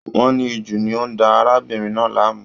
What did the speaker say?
Wọ́n ní ìju ni ó ń da arábìnrin náà láàmú.